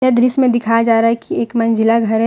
यह दृश्य मे दिखाया जा रहा है कि एक मंजिला घर है।